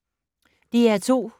DR2